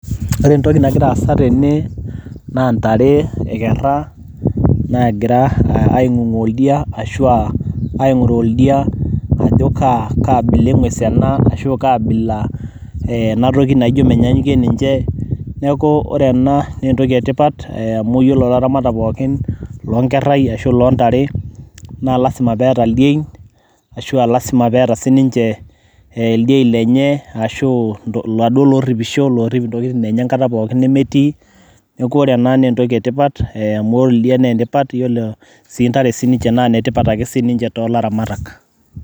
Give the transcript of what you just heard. ore entoki nagira aasa tene naa ntare ekerra nagira aing'ung'u oldia ashua aing'uraa oldia ajo kaa kaabila eng'es ena ashu kaabila enatoki naijo menyanyukie ninche neeku ore ena naa entoki etipat eh, amu yiolo ilaramatak pookin lonkerrai ashu lontare naa lasima peeta ildiein ashua lasima peeta sininche eh, ildiein lenye ashu iladuo lorripisho lorrip intokitin enye enkata pookin nemetii neeku ore ena naa entoki etipat e amu oldia nentipat yiolo sii ntare sininche naa inetipat ake sininche tolaramatak.